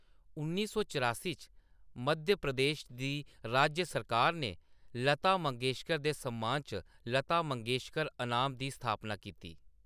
उन्नी सौ चरासी च, मध्य प्रदेश दी राज्य सरकार ने लता मंगेशकर दे सम्मान च लता मंगेशकर अनाम दी स्थापना कीती।